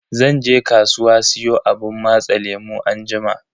Zan je kasuwa siyo abun matsa lemu anjima.